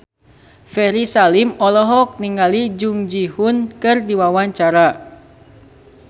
Ferry Salim olohok ningali Jung Ji Hoon keur diwawancara